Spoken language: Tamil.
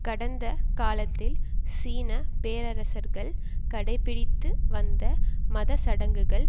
கடந்த காலத்தில் சீன பேரரசர்கள் கடைபிடித்து வந்த மதச்சடங்குகள்